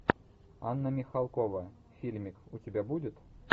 анна михалкова фильмик у тебя будет